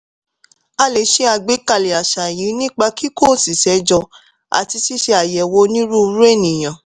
a lè ṣe àgbékalẹ̀ àṣà yìí nípa kíkó òṣìṣẹ́ jọ àti ṣíṣe àyẹ̀wò onírúurú ènìyàn.